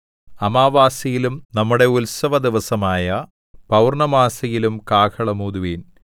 അമാവാസ്യയിലും നമ്മുടെ ഉത്സവദിവസമായ പൗർണ്ണമാസിയിലും കാഹളം ഊതുവിൻ